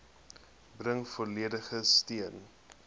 bring volledige steun